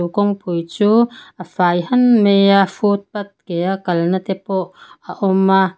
kawngpui chu a fai han mai a footpath ke a kalna te pawh a awm a--